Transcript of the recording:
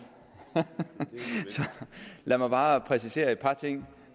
så lad mig bare præcisere et par ting